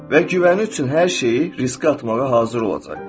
Və güvəni üçün hər şeyi riskə atmağa hazır olacaq.